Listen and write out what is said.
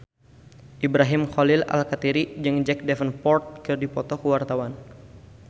Ibrahim Khalil Alkatiri jeung Jack Davenport keur dipoto ku wartawan